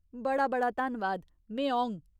बड़ा बड़ा धन्नवाद, में औङ !